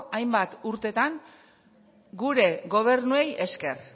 hainbat urteetan gure gobernuei esker